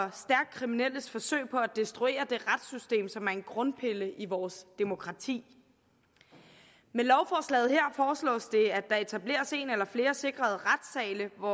kriminelles forsøg på at destruere det retssystem som er en grundpille i vores demokrati med lovforslaget her foreslås det at der etableres en eller flere sikrede retssale hvor